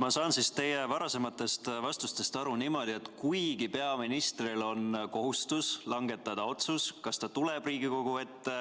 Ma saan teie varasematest vastustest aru niimoodi, et kuigi peaministril on kohustus langetada otsus, kas ta tuleb Riigikogu ette